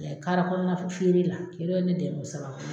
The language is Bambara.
A lajɛ kara kɔnɔna f feere la, ne dɛmɛ o sababu